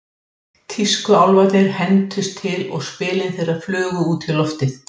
Tískuálfarnir hentust til og spilin þeirra flugu út í loftið.